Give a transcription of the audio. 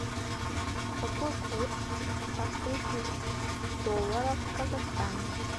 какой курс австрийских долларов в казахстане